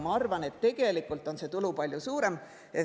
Ma arvan, et tegelikult on see tulu palju suurem.